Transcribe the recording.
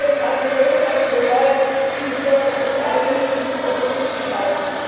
Gibt es einen größeren Beweis dafür, wie die Bürger sich einmischen und uns zuschauen?